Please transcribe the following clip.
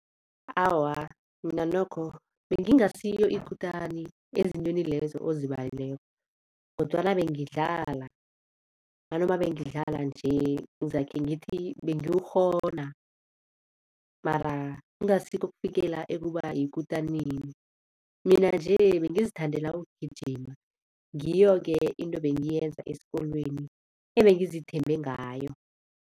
Awa, mina nokho bengingasiyo ikutani ezintweni lezo ozibalileko kodwana bengidlala nanoma bengidlala nje ngizakhe ngithi bengiwukghona mara ingasikho ukufikela ekuba yikutanini. Mina nje bengizithandela ukugijima ngiyo-ke into ebengiyenza esikolweni ebengizithembe ngayo.